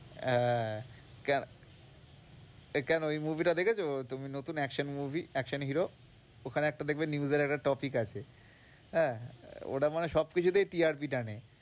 হ্যাঁ, এই কেন এই movie টা দেখেছো? তুমি নতুন action movie, action hero ওখানে একটা দেখবে news এর একটা topic আছে আহ ওটা মনে হয় সবকিছুতেই TRP টানে।